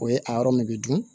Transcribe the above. O ye a yɔrɔ min bɛ dun